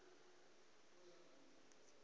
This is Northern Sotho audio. motho ge e le yo